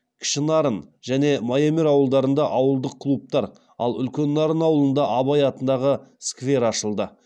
кішінарын және майемер ауылдарында ауылдық клубтар ал үлкен нарын ауылында абай атындағы сквер ашылды